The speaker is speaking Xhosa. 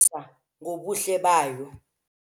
Le ntombi izigwagwisa ngobuhle bayo.